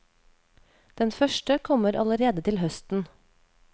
Den første kommer allerede til høsten.